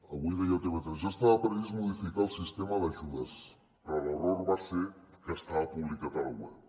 avui deia a tv3 ja estava previst modificar el sistema d’ajudes però l’error va ser que estava publicat a la web